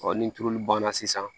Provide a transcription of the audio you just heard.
ni tulu banna sisan